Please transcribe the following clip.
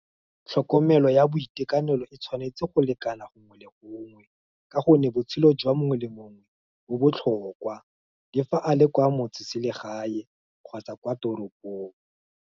Tlhokomelo ya boitekanelo e tshwanetse go lekana gongwe le gongwe, ka gonne, botshelo jwa mongwe le mongwe, bo botlhokwa, di fa a le kwa motseselegae, kgotsa kwa toropong.